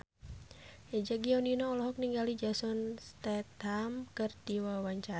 Eza Gionino olohok ningali Jason Statham keur diwawancara